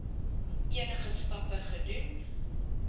enige stappe gedoen